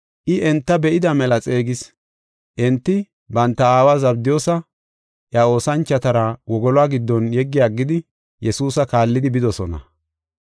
I enta be7ida mela xeegis. Enti banta aawa Zabdiyoosa, iya oosanchotara wogoluwa giddon yeggi aggidi Yesuusa kaallidi bidosona.